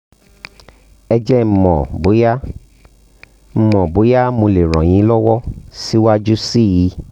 ẹ jẹ́ kí n mọ̀ bóyá n mọ̀ bóyá mo lè ràn yín lọ́wọ́ síwájú sí i